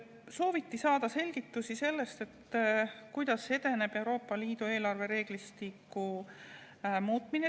Sooviti saada selgitusi selle kohta, kuidas edeneb Euroopa Liidu eelarvereeglistiku muutmine.